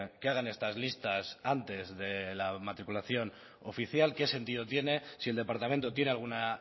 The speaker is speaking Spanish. que hagan estas listas antes de la matriculación oficial qué sentido tiene si el departamento tiene alguna